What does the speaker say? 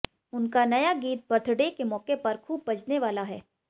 उनका नया गीत बर्थडे के मौके पर खूब बजने वाला है